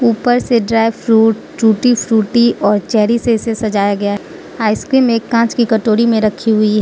ऊपर से dry fruit tutti frutti और चेरी से इसे सजाया गया आइसक्रीम एक कांच की कटोरी में रखी हुई--